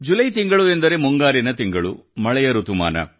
July ತಿಂಗಳು ಎಂದರೆ ಮುಂಗಾರಿನ ತಿಂಗಳು ಮಳೆಯ ಋತುಮಾನ